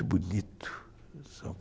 bonito